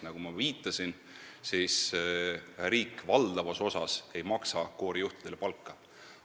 Nagu ma viitasin, riik valdavas osas ei maksa koorijuhtidele palka.